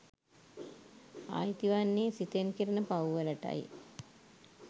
අයිති වන්නේ සිතෙන් කෙරෙන පව්වලටයි.